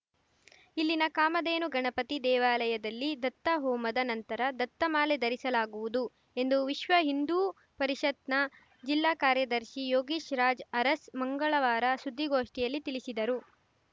ಇಲ್ಲಿನ ಕಾಮಧೇನು ಗಣಪತಿ ದೇವಾಲಯದಲ್ಲಿ ದತ್ತ ಹೋಮದ ನಂತರ ದತ್ತಮಾಲೆ ಧರಿಸಲಾಗುವುದು ಎಂದು ವಿಶ್ವಹಿಂದೂ ಪರಿಷತ್‌ನ ಜಿಲ್ಲಾ ಕಾರ್ಯದರ್ಶಿ ಯೋಗೀಶ್‌ ರಾಜ್‌ ಅರಸ್‌ ಮಂಗಳವಾರ ಸುದ್ದಿಗೋಷ್ಠಿಯಲ್ಲಿ ತಿಳಿಸಿದರು